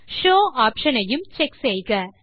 show option ஐயும் check செய்க